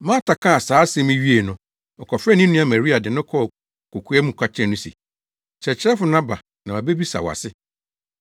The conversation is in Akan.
Marta kaa saa asɛm yi wiee no, ɔkɔfrɛɛ ne nua Maria de no kɔɔ kokoa mu ka kyerɛɛ no se, “Kyerɛkyerɛfo no aba na wabisa wo ase.”